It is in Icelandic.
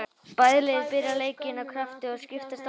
Bæði lið byrjuðu leikinn af krafti og skiptust á að sækja.